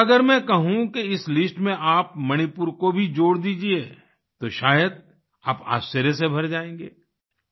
पर अगर मैं कहूँ कि इस लिस्ट में आप मणिपुर को भी जोड़ दीजिये तो शायद आप आश्चर्य से भर जाएंगे